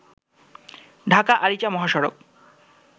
ঢাকা আরিচা মহাসড়ক